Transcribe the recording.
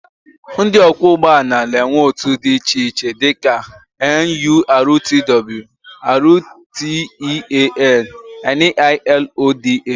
Ndị ọkwọụgbọala na-enwekwa otu dị iche iche dịka NURTW, RTEAN, NILODA